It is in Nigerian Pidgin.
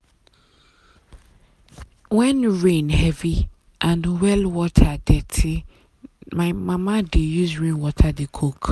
rain no fall well this year so i plant crop wey no need too much water.